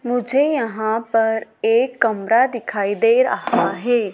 मुझे यहां पर एक कमरा दिखाई दे रहा है।